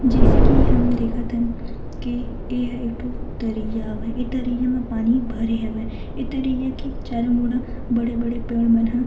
जैसे की हम देखत हन की एह एक ठो तरिया हवे ए तरिया म पानी भरे हवय ए तरिया के चारो मुड़ा बड़े-बड़े पेड़ मन ह --